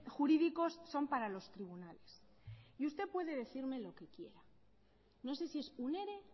jurídicos son para los tribunales y usted puede decirme lo que quiera no sé si es un ere